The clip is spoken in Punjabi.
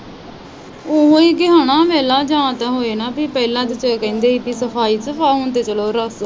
ਓਹੀ ਕੇ ਹੈਨਾ ਵੇਖਲਾ ਜਾ ਤੇ ਹੋਵੇ ਨਾ ਪੀ ਪਹਿਲਾ ਜਿਸਤਰਾਂ ਕਹਿੰਦੇ ਹੀ ਪੀ ਸਫਾਈ ਤੇ ਚਲੋ ਹੁਣ ਤੇ